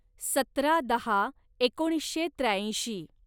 सतरा दहा एकोणीसशे त्र्याऐंशी